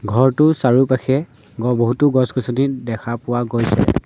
ঘৰটোৰ চাৰিওকাষে বহুতো গছ গছনি দেখা পোৱা গৈছে।